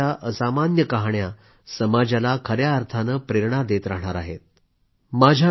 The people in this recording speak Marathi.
त्यांच्या जीवनाची असामान्य कहाण्या समाजाला खया अर्थाने प्रेरणा देत राहणार आहेत